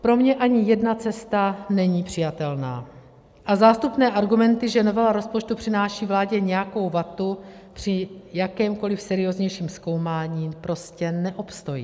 Pro mě ani jedna cesta není přijatelná a zástupné argumenty, že novela rozpočtu přináší vládě nějakou vatu, při jakémkoli serióznějším zkoumání prostě neobstojí.